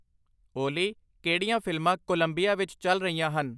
ਓਲੀ ਕਿਹੜੀਆਂ ਫਿਲਮਾਂ ਕੋਲੰਬੀਆ ਵਿੱਚ ਚੱਲ ਰਹੀਆਂ ਹਨ